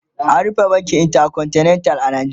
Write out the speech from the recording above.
an rufe bankin intercontinental a Najeriya